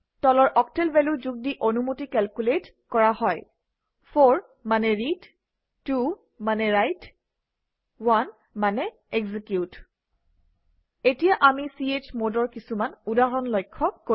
তলৰ octal value যোগ দি অনুমতি কেলকুলেট কৰা হয় 4 মানে ৰিড 2 মানে ৰাইট 1 মানে এক্সিকিউট এতিয়া আমি chmod অৰ কিছুমান উদাহৰণ লক্ষ্য কৰিম